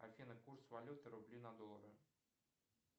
афина курс валюты рубли на доллары